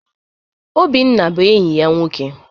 Obinna bụ enyi ya nwoke.